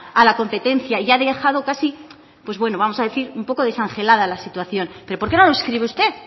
a la competencia y ha dejado casi pues bueno vamos a decir un poco descongelada la situación pero por qué no lo escribe usted